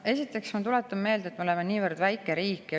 Esiteks tuletan ma meelde, et me oleme niivõrd väike riik.